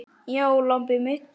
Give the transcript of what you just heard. Já, lambið mitt.